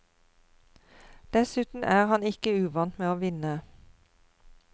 Dessuten er han ikke uvant med å vinne.